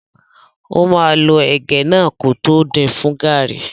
Ó máa lọ ẹ̀gẹ́ náà kótó din fún gàrrí.